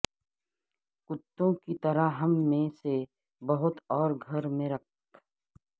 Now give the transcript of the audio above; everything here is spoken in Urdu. کتوں کی طرح ہم میں سے بہت اور گھر میں رکھ